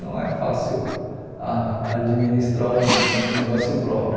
Não é fácil a administrar um um negócio próprio.